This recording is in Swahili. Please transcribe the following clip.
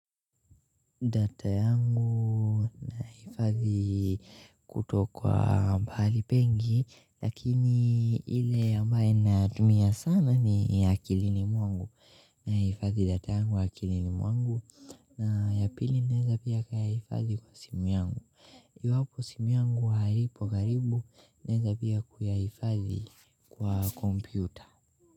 Data yangu nahifadhi kuto kwa mahali pengi lakini ile ambayo natumia sana ni ya akilini mwangu na hifadhi data yangu wa akilini mwangu na ya pili naweza pia kayahifadhi kwa simu yangu iwapo simu yangu haipo karibu naweza pia yahifadhi kwa kompyuta.